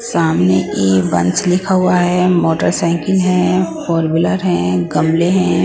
सामने एवंस लिखा हुआ है मोटरसाइकिल है हैं।